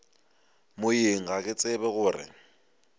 moyeng ga ke tsebe gore